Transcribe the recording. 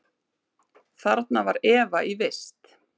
Þarna Eva var í vist.